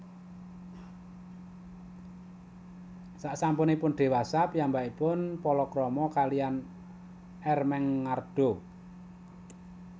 Sasampuning diwasa piyambakipun palakrama kaliyan Ermengarda